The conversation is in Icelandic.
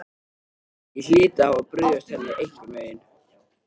Ég hlyti að hafa brugðist henni einhvern veginn.